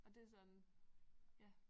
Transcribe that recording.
Og det sådan ja